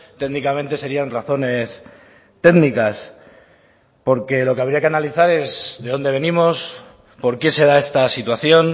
técnicamente serian razones técnicas porque lo que habría que analizar es de dónde venimos por qué se da esta situación